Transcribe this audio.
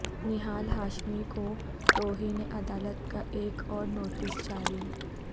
نہال ہاشمی کو توہین عدالت کا ایک اور نوٹس جاری